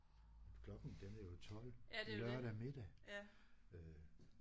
Klokken den er jo 12 lørdag middag øh